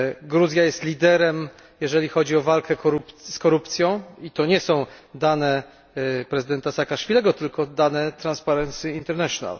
Gruzja jest liderem, jeżeli chodzi o walkę z korupcją to nie są dane prezydenta Saakaszwilego, tylko dane Transparency International.